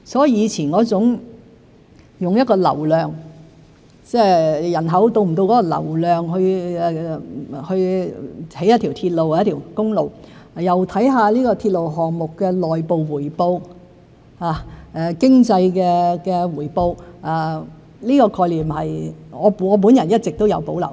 以前是用一個流量為基礎，即是考慮人口是否達到那個流量才去興建一條鐵路或一條公路，又考慮鐵路項目的內部回報、經濟回報，我對這個概念一直都有保留。